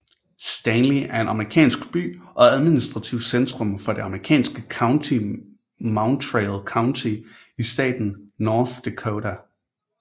Stanley er en amerikansk by og administrativt centrum for det amerikanske county Mountrail County i staten North Dakota